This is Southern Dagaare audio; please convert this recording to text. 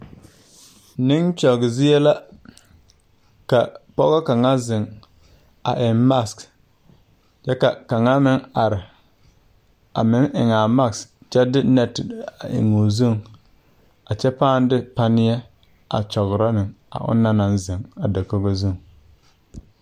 Neŋ kyɔge zie la ka pɔgɔ kaŋ zeŋ a eŋ mak kyɛ ka kaŋa meŋ are a meŋ eŋaa mak kyɛ de nɛte a eŋ o zuŋ a kyɛ pãã de panieɛ a kyɔgrɔ ne a o na naŋ zeŋ a dakogo zuŋ.